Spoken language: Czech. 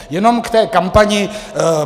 Jenom k té kampani.